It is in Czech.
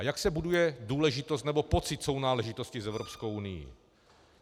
A jak se buduje důležitost, nebo pocit sounáležitosti s Evropskou unií?